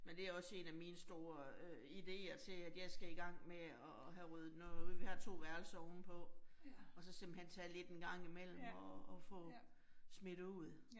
Men det også 1 af mine store øh ideer til at jeg skal i gang med at have ryddet noget ud, vi har 2 værelser ovenpå og så simpelthen tage lidt en gang imellem og og få smidt ud